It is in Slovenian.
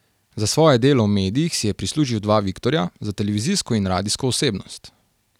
Za svoje delo v medijih si je prislužil dva viktorja, za televizijsko in radijsko osebnost.